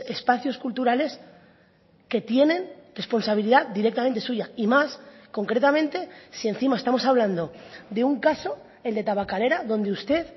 espacios culturales que tienen responsabilidad directamente suya y más concretamente si encima estamos hablando de un caso el de tabakalera donde usted